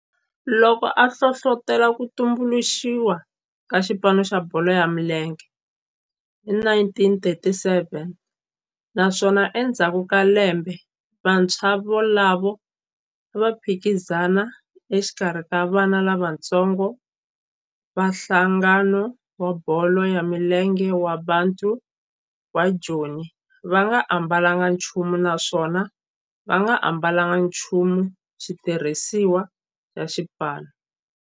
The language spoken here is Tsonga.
loko a hlohlotela ku tumbuluxiwa ka xipano xa bolo ya milenge hi 1937 naswona endzhaku ka lembe vantshwa volavo a va phikizana exikarhi ka vana lavatsongo va nhlangano wa bolo ya milenge wa Bantu wa Joni va nga ambalanga nchumu naswona va nga ambalanga nchumu xitirhisiwa xa xipano.